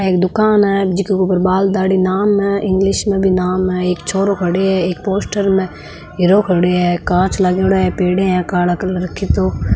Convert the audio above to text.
एक दुकान है जीके ऊपर बाल दाढ़ी नाम है इंगलिश में भी नाम है एक छोरो खड़ा है एक पोस्टर में हिर्रो खड़े है कांच लागेड़े है पेढिया है काले कलर की दो--